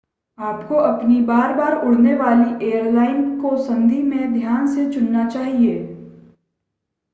आपको अपनी बार-बार उड़ने वाली एयरलाइन को संधि में ध्यान से चुनना चाहिए